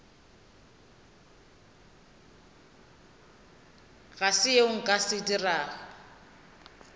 go seo nka se dirago